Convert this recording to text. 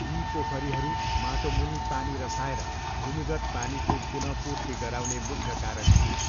यी पोखरीहरू माटोमुनि पानी रसाएर भूमिगत पानीको पुनःपूर्ति गराउने मुख्य कारक थिए।